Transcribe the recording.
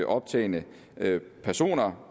optagne personer